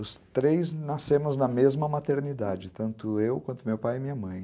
Os três nascemos na mesma maternidade, tanto eu quanto meu pai e minha mãe.